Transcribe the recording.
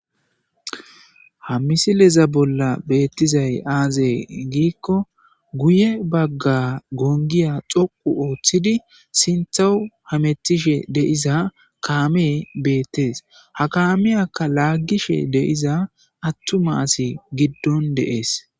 Ha misileza bolla beettizay aazay giikko guye bagga gongiya xoqu ooththidi sinthau hametishe deiza kaame beettees ha kaameyaka laaggishe deiza attuma asi giddon deees